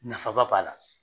Nafa ba b'a la.